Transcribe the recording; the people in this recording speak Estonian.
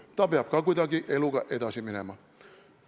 Ta peab ka kuidagi eluga edasi minema.